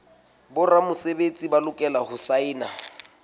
boramesebetsi ba lokela ho saena